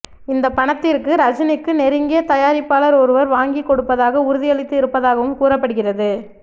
இந்த பணத்திற்கு ரஜினிக்கு நெருங்கிய தயாரிப்பாளர் ஒருவர் வாங்கி கொடுப்பதாக உறுதியளித்து இருப்பதாகவும் கூறப்படுகிறது